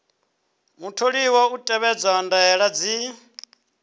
mutholiwa u tevhedza ndaela dzi